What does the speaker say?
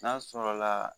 N'a sɔrɔ la